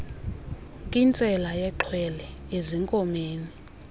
nkintsela yexhwele ezinkomeni